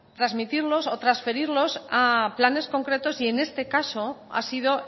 trasmitirlos o transferirlos a planes concretos y en este caso ha sido